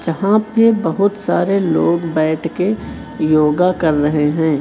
जहां पे बहुत सारे लोग बैठ के योगा कर रहे हैं।